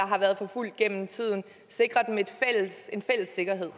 har været forfulgt gennem tiden en fælles sikkerhed